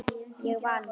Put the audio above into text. Ég vann!